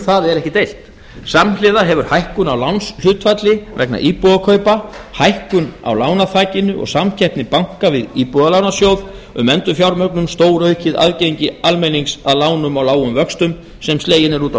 það er ekki deilt samhliða hefur hækkun á lánshlutfalli vegna íbúðakaupa hækkun á lánaþakinu og samkeppni banka við íbúðalánasjóð um endurfjármögnun stóraukið aðgengi almennings að lánum á lágum vöxtum sem slegin eru út á